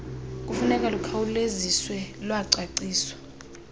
funeka lukhawuleziswe lwacaciswa